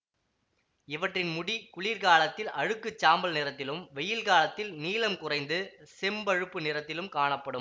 இவற்றின் முடி குளிர் காலத்தில் அழுக்குச் சாம்பல் நிறத்திலும் வெயில் காலத்தில் நீளம் குறைந்து செம்பழுப்பு நிறத்திலும் காணப்படும்